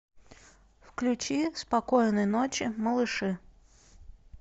включи спокойной ночи малыши